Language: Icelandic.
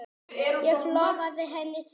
Ég lofaði henni því.